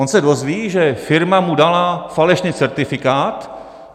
On se dozví, že firma mu dala falešný certifikát.